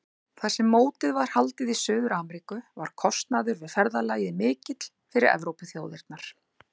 Þar sem mótið var haldið í Suður-Ameríku var kostnaður við ferðalagið mikill fyrir Evrópuþjóðirnar.